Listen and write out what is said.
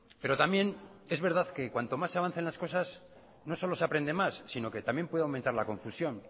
pero también es verdad que cuanto más se avancen las cosas no solo se aprende más sino que también puede aumentar la confusión